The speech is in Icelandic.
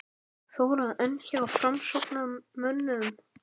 Þóra: En hjá framsóknarmönnum?